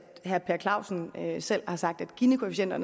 herre per clausen selv har sagt at ginikoefficienter